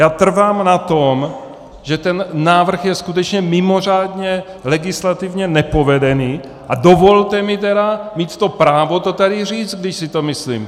Já trvám na tom, že ten návrh je skutečně mimořádně legislativně nepovedený, a dovolte mi tedy mít to právo to tady říct, když si to myslím.